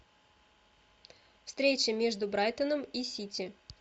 встреча между брайтоном и сити